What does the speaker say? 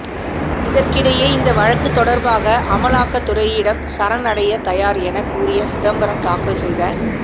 இதற்கிடையே இந்த வழக்கு தொடர்பாக அமலாக்கத் துறையிடம் சரண் அடைய தயார் எனக் கூறிய சிதம்பரம் தாக்கல் செய்த